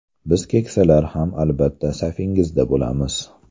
Biz keksalar ham, albatta, safingizda bo‘lamiz.